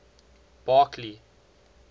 barkley